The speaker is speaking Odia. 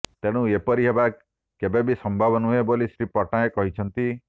ତେଣୁ ଏପରି ହେବା କେବେ ବି ସମ୍ଭବ ନୁହେଁ ବୋଲି ଶ୍ରୀ ପଟ୍ଟନାୟକ କହିଛନ୍ତି